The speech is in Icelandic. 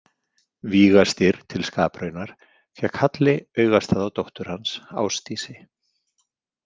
Víga- Styrr til skapraunar fékk Halli augastað á dóttur hans, Ásdísi.